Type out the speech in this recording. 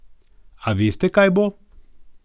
A veste kaj bo?